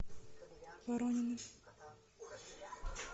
воронины